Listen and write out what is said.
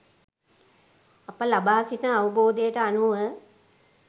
අප ලබා සිටින අවබෝධයට අනුව